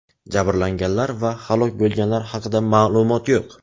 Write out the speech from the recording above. Jabrlanganlar va halok bo‘lganlar haqida ma’lumot yo‘q.